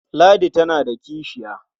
Ladi tana da kishiya.